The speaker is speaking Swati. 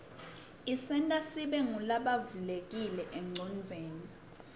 isenta sibe ngulabavulekile enqcondvweni